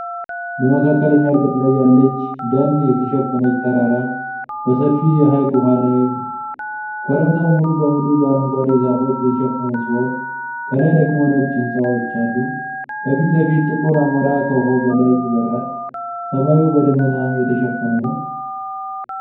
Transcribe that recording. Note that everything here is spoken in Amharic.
በመካከለኛ ርቀት ላይ ያለች ደን የተሸፈነች ተራራ በሰፊ የሐይቅ ውሀ ላይ አሐ። ኮረብታው ሙሉ በሙሉ በአረንጓዴ ዛፎች የተሸፈነ ሲሆን ከላይ ደግሞ ነጭ ሕንጻዎች አሉ። ከፊት ለፊት ጥቁር አሞራ ከውሃው በላይ ይበርራል። ሰማዩ በደመና የተሸፈነ ነው።